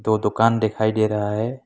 दो दुकान दिखाई दे रहा है।